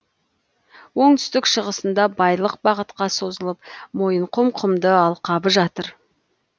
оңтүстік шығысында бойлық бағытқа созылып мойынқұм құмды алқабы жатыр